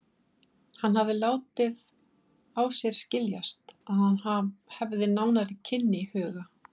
Hann hafði látið á sér skiljast, að hann hefði nánari kynni í huga.